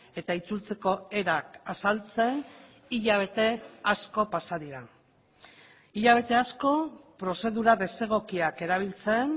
eta itzultzeko erak azaltzen hilabete asko pasa dira hilabete asko prozedura desegokiak erabiltzen